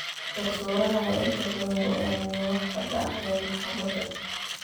Garsooraha ayaa inta badan go'aamiya waxa ka dhacaya maxkamadda.